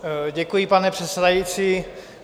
Děkuji, pane předsedající.